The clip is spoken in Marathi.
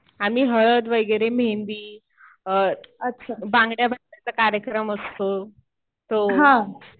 आम्ही हळद वगैरे मेहेंदी, बांगड्या भरण्याचा कार्यक्रम असतो. तो